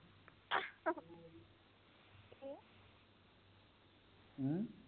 ਹਮ